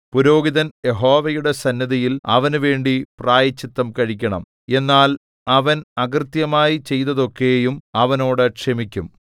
പുരോഹിതൻ യഹോവയുടെ സന്നിധിയിൽ അവനുവേണ്ടി പ്രായശ്ചിത്തം കഴിക്കണം എന്നാൽ അവൻ അകൃത്യമായി ചെയ്തതൊക്കെയും അവനോട് ക്ഷമിക്കും